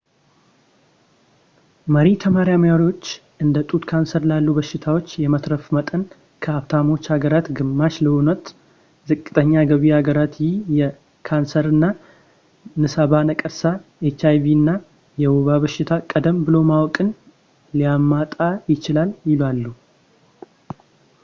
መሪ ተመራማሪዎች እንደ ጡት ካንሰር ላሉ በሽታዎች የመትረፍ መጠን ከሀብታሞች ሀገራት ግማሽ ለሆነት ዝቅተኛ ገቢ ሀገራት ይህ የካሰር የንሳባ ነቀርሳ hiv እና የወባ በሽታ ቀደም ብሎ ማወቅን ሊያመጣ ይችላል ይላሉ